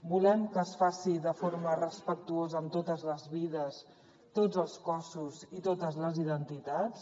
volem que es faci de forma respectuosa amb totes les vides tots els cossos i totes les identitats